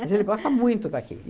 Mas ele gosta muito daqui.